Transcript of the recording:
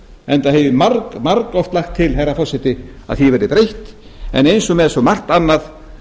enda hef ég fara margoft lagt til herra forseti að því verði breytt en eins og með svo margt annað